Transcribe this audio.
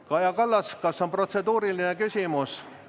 Kaja Kallas, kas on protseduuriline küsimus?